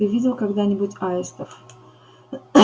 ты видел когда нибудь аистов